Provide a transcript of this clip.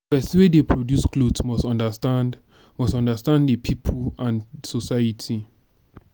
persin wey de produce cloth must understand must understand di pipo and society